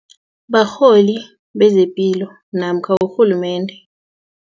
Barholi bezepilo namkha urhulumende.